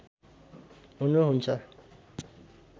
हुनुहुन्छ